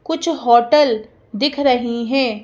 कुछ होटल दिख रही हैं।